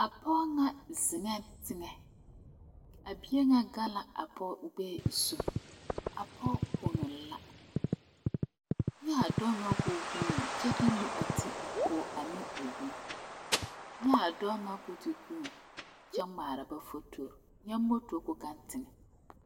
Pɔge la ziŋ teŋe ka bie gaŋ o gbɛɛ zu kyɛ ka o kono. Dɔɔ vuunee la kyɛ de o nu pɔnne ne o pʋɔ kyɛ ka dɔɔ vuuni kyɛ gmaara ba fotore kyɛ ka popo gaŋ teŋe.